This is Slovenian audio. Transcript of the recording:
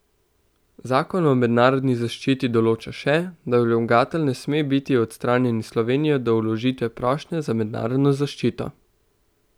Zakon o mednarodni zaščiti določa še, da vlagatelj namere ne sme biti odstranjen iz Slovenije do vložitve prošnje za mednarodno zaščito.